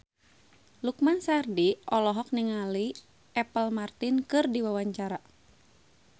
Lukman Sardi olohok ningali Apple Martin keur diwawancara